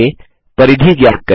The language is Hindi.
आगे परिधि ज्ञात करें